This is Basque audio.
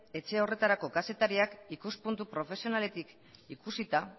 etxe horretarako kazetariak ikuspuntu profesionaletik ikusita